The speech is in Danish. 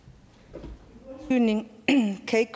så